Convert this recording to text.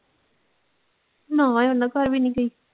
ਨਾ ਉਨਾਂ ਘਰ ਵੀ ਨੀ ਗਈ।